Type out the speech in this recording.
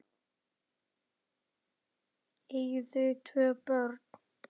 Eiga þau tvö börn.